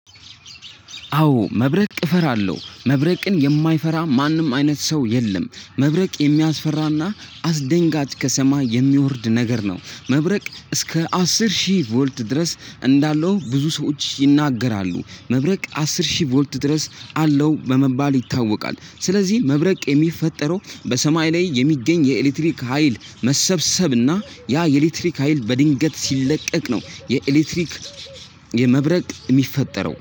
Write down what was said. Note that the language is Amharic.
አዎ መብረቅ እፈራለሁ። መብረቅን የማይፈራ ማንም አይነት ሰው የለም መብረቅ የሚያስፈራና አስደንጋጭ ከሰማይ የሚወርድ ነገር ነው። መብረቅ እስከ አስር ሺህ ቮልት ድረስ እንዳለው ብዙ ሰዎች ይናገራሉ። መብረቅ አስር ሺህ ቮልት ድረስ አለው በመባል ይታወቃል። ስለዚህ መብረቅ የሚፈጠረው በሰማይ ላይ የሚገኝ የኤሌክትሪክ ሀይል መሰብሰብና ያ የኤሌክትሪክ ሀይል በድንገት ሲለቀቅ ነው የኤሌክትሪክ የመብረቅ የሚፈጠረው